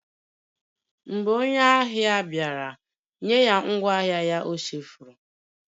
Mgbe onye ahịa bịara, nye ya ngwaahịa ya ọ chefuru